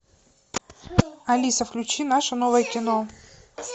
алиса включи наше новое кино